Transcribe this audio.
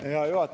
Hea juhataja!